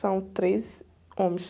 São três homens.